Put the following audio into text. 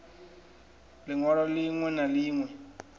liṋ walo ḽiṋwe na ḽiṋwe